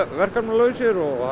verkefnalausir og